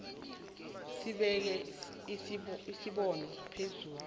sibeka isibopho phezu